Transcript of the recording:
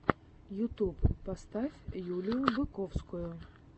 ютуб поставь юлию быковскую